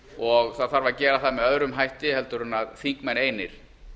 og það þarf að gera það með öðrum hætti heldur en þingmenn einir